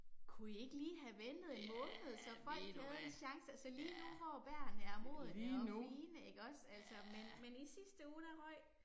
Kunne I ikke lige have ventet en måned så folk havde en chance, altså lige nu hvor bærerne er modne og fine ikke også altså men men i sidste uge der røg